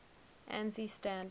ansi standards